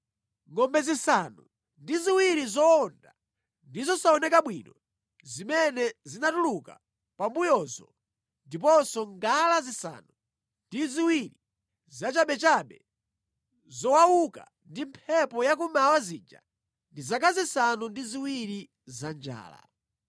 Ngʼombe zisanu ndi ziwiri zowonda ndi zosaoneka bwino zimene zinatuluka pambuyozo ndiponso ngala zisanu ndi ziwiri zachabechabe, zowauka ndi mphepo ya kummawa zija ndi zaka zisanu ndi ziwiri za njala.